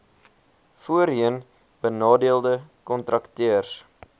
voorheen benadeelde kontrakteurs